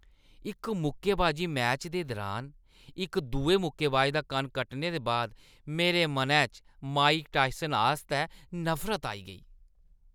इक मुक्केबाजी मैच दे दुरान इक दुए मुक्केबाज दा कन्न कट्टने दे बाद मेरे मनै च माइक टायसन आस्तै नफरत आई गेई।